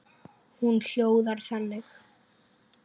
Hún hljóðar þannig: